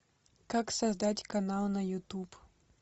как создать канал на ютуб